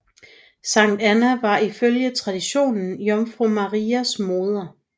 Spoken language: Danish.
Sankt Anna var ifølge traditionen Jomfru Marias moder